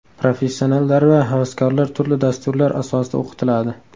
Professionallar va havaskorlar turli dasturlar asosida o‘qitiladi.